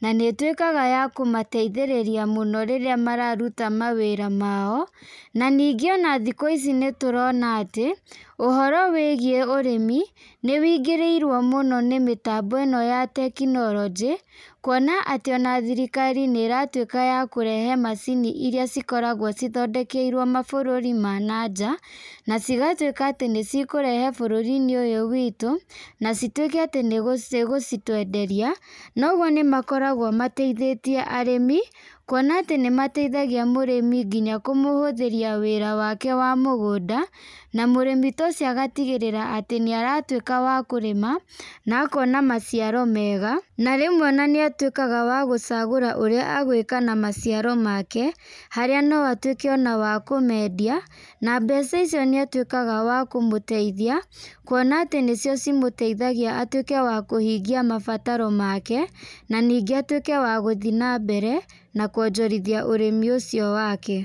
na nĩ itwĩkaga ya kũmateithĩrĩria mũno rĩrĩa mararuta mawĩra mao , na ningĩ ona thikũ ici nĩtũrona atĩ, ũhoro wĩgiĩ ũrĩmi nĩwĩngirĩirwo mũno nĩ mitambo ĩno ya tekinorojĩ , kuona atĩ ona thirikari nĩ ĩratwĩka ya kũrehe macini iria cikoragwo cithondekeirwo mabũrũri ma na nja, na cigatwĩka atĩ nĩcikũrehwo bũrũri-inĩ ũyũ witũ , na citwĩke atĩ nĩcigũtwenderia, na ũgwo nĩmakoragwo mateithĩtie arĩmi kuona atĩ nĩmateithagia mũrĩmi nginya kũmũhũthĩria wĩra wake wa mũgũnda, na mũrĩmi ta ũcio agatigĩrĩra atĩ nĩ aratwĩka wa kũrĩma na akona maciaro mega, na rĩmwe nĩ atwĩkaga wa gũcagũra ũrĩa agwĩka na maciaro make, harĩa no atwĩke ona wa kũmendia, na mbeca icio nĩ atwĩkaga wa kũmũteithia, kuona atĩ nĩ cio cimũteithagia atwĩke wa kũhingia mabataro make, na ningĩ atwĩke wa gũthiĩ na mbere na kwonjorithia ũrĩmi ũcio wake.